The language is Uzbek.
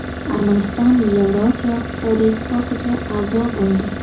Armaniston Yevroosiyo iqtisodiy ittifoqiga a’zo bo‘ldi.